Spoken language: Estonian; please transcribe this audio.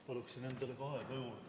Paluksin endale ka aega juurde!